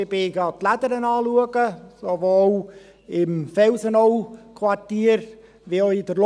Ich habe die «Lädere» angeschaut, sowohl im Felsenau-Quartier als auch in der Lorraine.